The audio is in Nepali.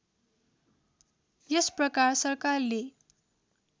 यस प्रकार सरकारले